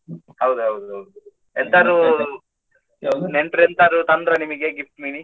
ಹೌದು ಹೌದು ಹೌದು ಎಂತಾದ್ರು ನೆಂಟ್ರು ಎಂತಾದ್ರು ತಂದ್ರಾ ನಿಮಗೆ gift ಮಿನಿ .